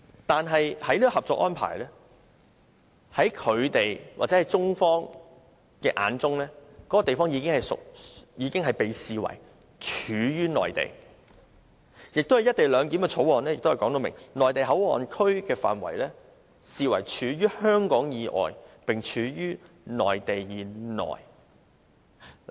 但是，根據《合作安排》，在中方的眼中，那個地方已被視為處於內地，而《廣深港高鐵條例草案》也訂明，內地口岸區的範圍視為處於香港以外，並處於內地以內。